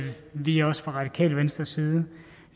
vi også fra radikale venstres side